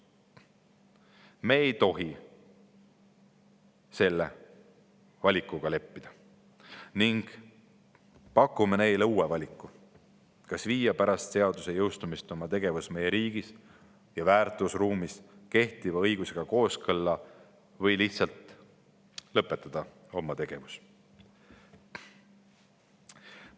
Me ei tohi selle valikuga leppida ning pakume neile uue valiku: kas viia pärast seaduse jõustumist oma tegevus meie riigis ja väärtusruumis kehtiva õigusega kooskõlla või lihtsalt lõpetada oma tegevus.